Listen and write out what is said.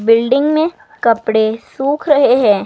Building में कपड़े सुख रहे हैं।